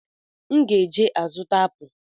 M ga eje azụta apụ